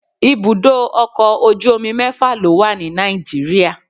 ibudọ ọkọ ojú omí mẹfa lo wa ní Nàìjíríà